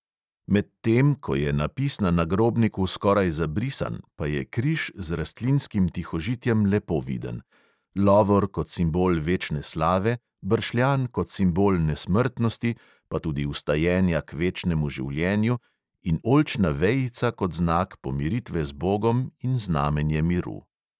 Medtem ko je napis na nagrobniku skoraj zabrisan, pa je križ z rastlinskim tihožitjem lepo viden: lovor kot simbol večne slave, bršljan kot simbol nesmrtnosti pa tudi vstajenja k večnemu življenju in oljčna vejica kot znak pomiritve z bogom in znamenje miru.